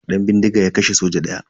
Dan bindiga ya kashe soja daya.